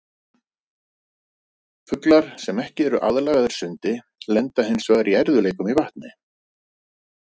Fuglar sem ekki eru aðlagaðir sundi lenda hins vegar í erfiðleikum í vatni.